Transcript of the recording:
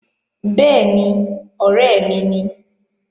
Bẹ́ẹ̀ni, ọ̀rẹ́ mi ni